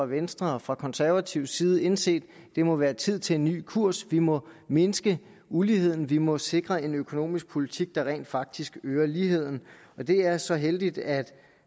venstres og konservatives side indset at det må være tid til en ny kurs vi må mindske uligheden vi må sikre en økonomisk politik der rent faktisk øger ligheden og det er så heldigt at